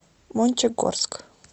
мончегорск